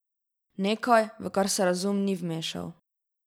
Nekaj, v kar se razum ni vmešal.